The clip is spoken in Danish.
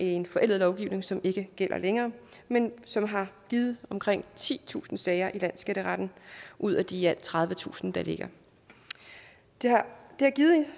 en forældet lovgivning som ikke gælder længere men som har givet omkring titusind sager i landsskatteretten ud af de i alt tredivetusind der ligger det har